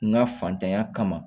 N ga fantanya kama